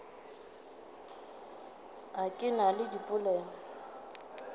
a ke na le dipelaelo